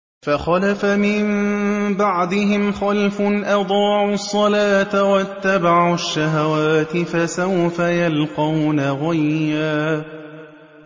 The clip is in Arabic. ۞ فَخَلَفَ مِن بَعْدِهِمْ خَلْفٌ أَضَاعُوا الصَّلَاةَ وَاتَّبَعُوا الشَّهَوَاتِ ۖ فَسَوْفَ يَلْقَوْنَ غَيًّا